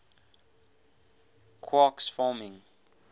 quarks forming